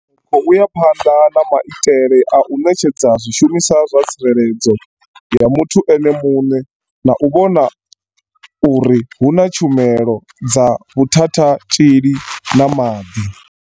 Ri khou ya phanḓa na maitele a u ṋetshedza zwi shumiswa zwa tsireledzo ya muthu ene muṋe na u vhona uri hu na tshumelo dza vhu thathatzhili na maḓi.